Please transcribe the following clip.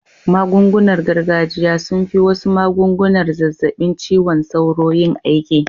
Magungunar gargajiya sun fi wasu magungunar zazzabin ciwon sauro yin aiki